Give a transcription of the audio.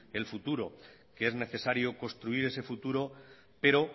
el futuro que es necesario construir ese futuro pero